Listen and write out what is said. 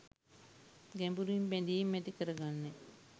ගැඹුරින් බැඳීම් ඇති කරගන්නේ